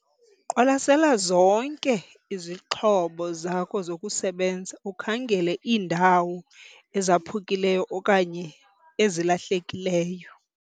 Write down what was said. Qwalasela zonke izixhobo zakho zokusebenza ukhangele iindawo ezaphukileyo okanye ezilahlekileyo.